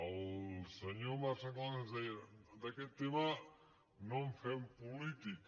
el senyor marc sanglas ens deia d’aquest tema no en fem política